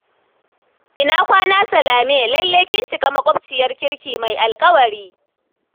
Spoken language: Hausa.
Ina kwana Salame, lallai kin cika maƙwabciyar kirki mai alƙawari